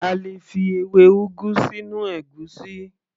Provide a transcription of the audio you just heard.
A lè fi ewé ugu sínú ègúsí